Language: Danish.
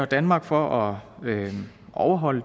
danmark for at overholde